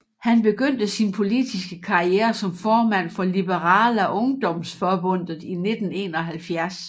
Han begyndte sin politiske karriere som formand for Liberala Ungdomsförbundet i 1971